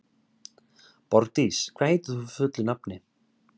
Borgdís, hvað heitir þú fullu nafni?